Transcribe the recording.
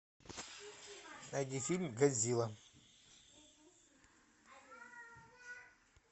найди фильм годзилла